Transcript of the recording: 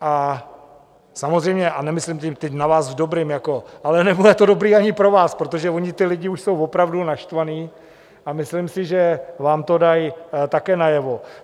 A samozřejmě, a nemyslím teď na vás, v dobrým jako - ale nebude to dobrý ani pro vás, protože oni ti lidi už jsou opravdu naštvaní a myslím si, že vám to dají také najevo.